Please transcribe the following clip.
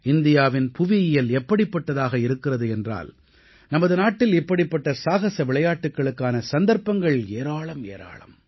இந்தியாவின் புவியியல் எப்படிப்பட்டதாக இருக்கிறது என்றால் நமது நாட்டில் இப்படிப்பட்ட சாகஸ விளையாட்டுகளுக்கான சந்தர்ப்பங்கள் ஏராளம் ஏராளம்